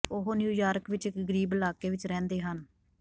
ਉਹ ਨਿਊਯਾਰਕ ਵਿਚ ਇਕ ਗ਼ਰੀਬ ਇਲਾਕੇ ਵਿਚ ਰਹਿੰਦੇ ਹਨ